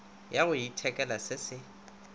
ya go ithekela se se